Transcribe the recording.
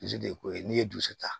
Bilisi de ye ko ye n'i ye dusu ta